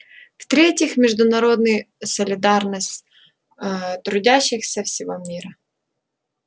в третьих международные солидарность ээ трудящихся всего мира